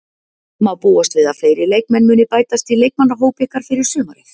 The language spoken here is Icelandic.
Má búast við að fleiri leikmenn muni bætast í leikmannahóp ykkar fyrir sumarið?